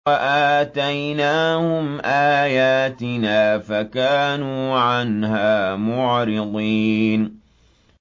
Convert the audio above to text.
وَآتَيْنَاهُمْ آيَاتِنَا فَكَانُوا عَنْهَا مُعْرِضِينَ